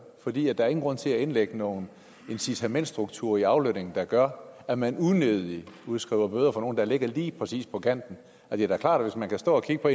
fordi der ikke grund til at indlægge nogle incitamentsstrukturer i aflønningen der gør at man unødigt udskriver bøder til nogle der ligger lige præcis på kanten det er da klart at hvis man kan stå og kigge på